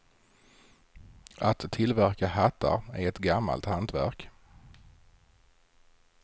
Att tillverka hattar är ett gammalt hantverk.